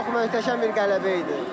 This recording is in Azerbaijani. Çox möhtəşəm bir qələbə idi.